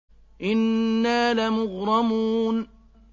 إِنَّا لَمُغْرَمُونَ